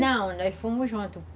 Não, nós fomos juntos.